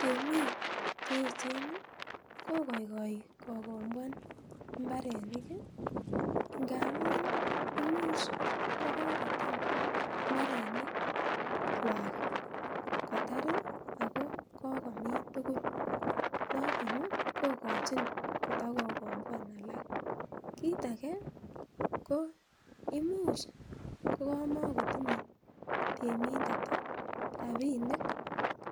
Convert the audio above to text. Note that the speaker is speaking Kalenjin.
Temik cheechen kokaikai kokombuan mbarenik ih , ingamuun imuch ko kotem mbarenik kwak kokomin tugul. Noton kokochin kotokokombian alak, kit age ko imuch kokamagotinye temindet ih rabinik